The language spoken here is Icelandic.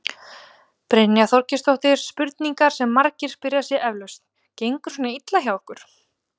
Brynja Þorgeirsdóttir: Spurningin sem margir spyrja sig eflaust, gengur svona illa hjá ykkur?